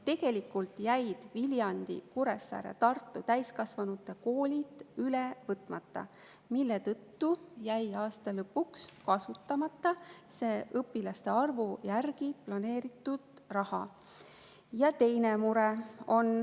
Tegelikult jäid Viljandi, Kuressaare ja Tartu täiskasvanute koolid üle võtmata, mille tõttu jäi aasta lõpuks kasutamata see õpilaste arvu järgi planeeritud raha.